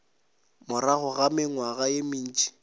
morago ga mengwaga ye mentši